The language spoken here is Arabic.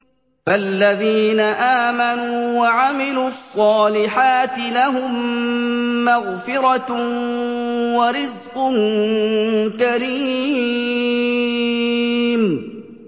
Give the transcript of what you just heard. فَالَّذِينَ آمَنُوا وَعَمِلُوا الصَّالِحَاتِ لَهُم مَّغْفِرَةٌ وَرِزْقٌ كَرِيمٌ